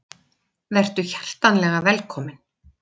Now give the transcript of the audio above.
Vertu hjartanlega velkominn.